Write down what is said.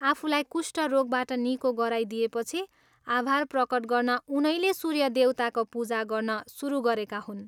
आफूलाई कुष्ट रोगबाट निको गराइदिएपछि आभार प्रकट गर्न उनैले सूर्य देवताको पूजा गर्न सुरु गरेका हुन्।